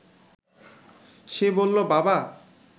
সে বলল, বাবা